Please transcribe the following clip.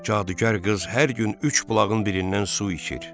Cadugar qız hər gün üç bulağın birindən su içir.